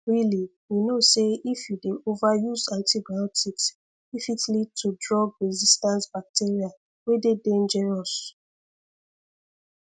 really you know say if you dey over use antibiotics e fit lead to drugresistant bacteria wey dey dangerous